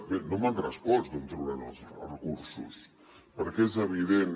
bé no m’han respost d’on trauran els recursos perquè és evident